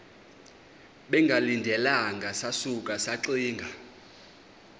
bengalindelanga sasuka saxinga